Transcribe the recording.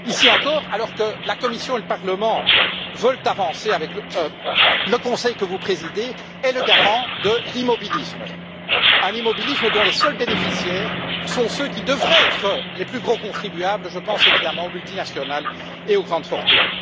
Ici encore, alors que la Commission et le Parlement veulent avancer, le Conseil que vous présidez est le garant d'un immobilisme dont les seuls bénéficiaires sont ceux qui devraient être les plus gros contribuables je pense évidemment aux multinationales et aux grandes fortunes.